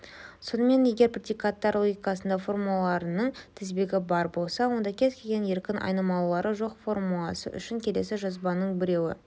сонымен егер предикаттар логикасында формулаларының тізбегі бар болса онда кез-келген еркін айнымалылары жоқ формуласы үшін келесі жазбаның біреуі